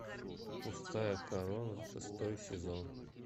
пустая корона шестой сезон